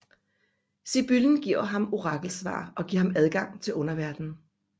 Sibyllen giver ham orakelsvar og giver ham adgang til Underverdenen